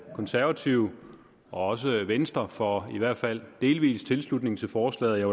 konservative og også venstre for i hvert fald delvis tilslutning til forslaget jeg